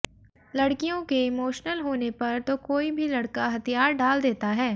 लड़कियों के इमोशनल होने पर तो कोई भी लड़का हथियार डाल देता है